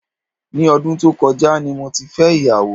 Ní ọdún tó kọjá ni mo ti fẹ́ ìyàwó.